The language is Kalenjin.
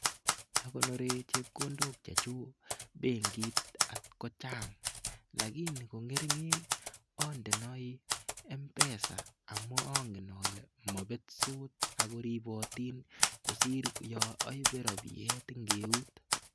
Akonore chepkondokchu benkit at ko chang lakini ko ngeringen andenoi mpesa aamun angen ale mabetsot ako riponotin kosiir yo aipe rapiet en eut.